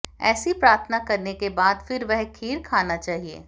ऐसी प्रार्थना करने के बाद फिर वह खीर खाना चाहिए